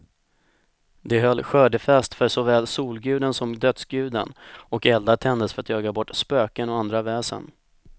De höll skördefest för såväl solguden som dödsguden, och eldar tändes för att jaga bort spöken och andra väsen.